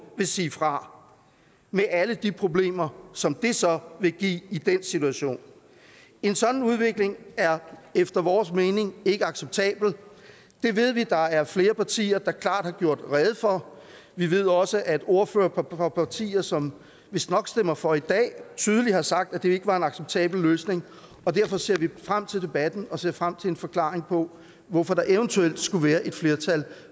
vil sige fra med alle de problemer som det så vil give i den situation en sådan udvikling er efter vores mening ikke acceptabel det ved vi der er flere partier der klart har gjort rede for vi ved også at ordførere fra partier som vistnok stemmer for i dag tydeligt har sagt at det ikke var en acceptabel løsning og derfor ser vi frem til debatten og ser frem til en forklaring på hvorfor der eventuelt skulle være et flertal